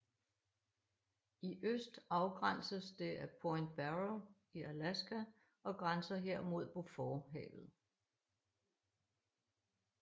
I øst afgrænses det af Point Barrow i Alaska og grænser her mod Beauforthavet